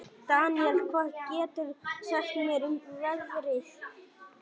Daníela, hvað geturðu sagt mér um veðrið?